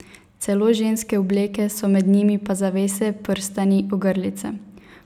Celo ženske obleke so med njimi pa zavese, prstani, ogrlice.